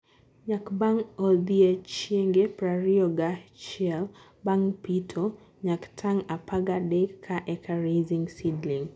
Nyak Bang odiechienge prariyo gahiel bang pito- Nyak: tan apagadek ka eka Raising Seedling